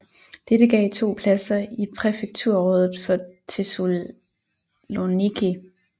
Dette gav to pladser i Præfekturrådet for Thessaloniki